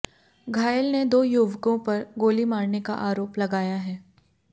घायल ने दो युवकों पर गोली मारने का आरोप लगाया है